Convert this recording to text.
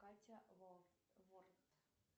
катя ворд